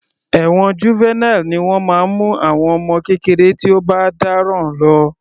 Ẹ̀wọ̀n Juvenile ni wọ́n máa ń mú àwọn ọmọ kékeré tí ó bá dáràn lọ.